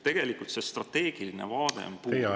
Tegelikult strateegiline vaade on puudu.